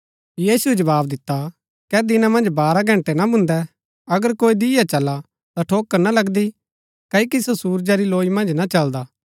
यीशुऐ जवाव दिता कै दिना मन्ज बारह घंटै ना भून्दै अगर कोई दिय्आ चला ता ठोकर ना लगदी क्ओकि सो सुरजा री लौई मन्ज चलदा हा